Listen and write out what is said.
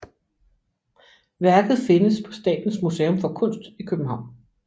Værket findes på Statens Museum for Kunst i København